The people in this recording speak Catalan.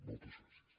moltes gràcies